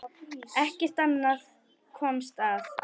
Ekkert annað komst að.